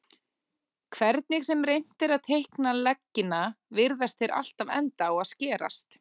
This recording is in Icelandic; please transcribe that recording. Hvernig sem reynt er að teikna leggina virðast þeir alltaf enda á að skerast.